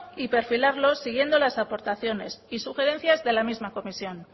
y perfilarlo siguiendo las aportaciones y sugerencias de la misma comisión